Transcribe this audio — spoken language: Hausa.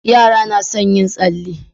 Yara na son yin tsalle